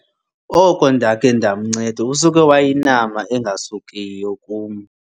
Oko ndakhe ndamnceda usuke wayinama engasukiyo kum.